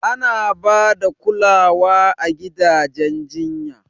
Ana ba da kulawa a gidan jinya.